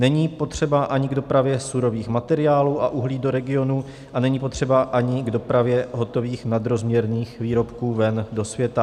Není potřeba ani k dopravě surových materiálů a uhlí do regionu a není potřeba ani k dopravě hotových nadrozměrných výrobků ven do světa.